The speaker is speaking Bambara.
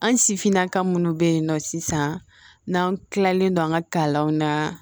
An sifinnaka minnu bɛ yen nɔ sisan n'an kilalen don an ka kalanw na